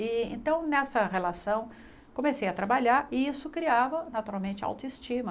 E então, nessa relação, comecei a trabalhar e isso criava, naturalmente, autoestima.